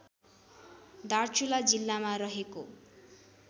दार्चुला जिल्लामा रहेको